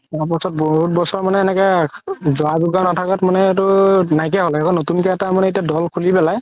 তাৰ পাছত বহুত বছৰ মানে এনেকে যা যোজা নাথাকাত এইটো নাই কিয়া হ'ল আকৌ নতুন কে এটা মানে দল খুলি পেলাই